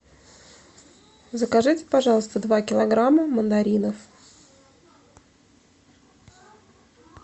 закажите пожалуйста два килограмма мандаринов